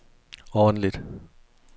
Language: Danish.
ordentligt